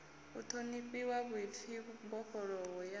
u ṱhonifhiwa vhuḓipfi mbofholowo ya